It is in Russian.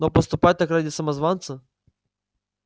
но поступать так ради самозванца